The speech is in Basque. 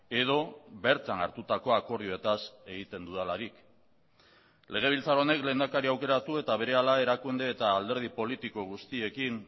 edo bertan hartutako akordioetaz egiten dudalarik legebiltzar honek lehendakari aukeratu eta berehala erakunde eta alderdi politiko guztiekin